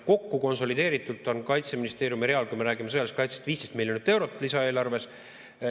Kokku konsolideeritult on Kaitseministeeriumi real, kui me räägime sõjalisest kaitsest, 15 miljonit eurot lisaeelarves.